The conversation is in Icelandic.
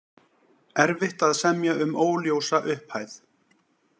Erfitt að semja um óljósa upphæð